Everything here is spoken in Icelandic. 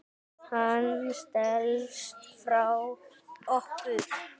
Hann stelst frá okkur.